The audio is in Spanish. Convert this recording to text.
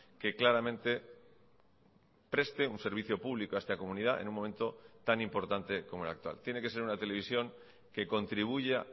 que claramente preste un servicio público a esta comunidad en un momento tan importante como el actual tiene que ser una televisión que contribuya